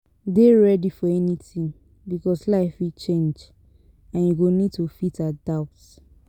Dey ready for anything because life fit change and you go need to fit adapt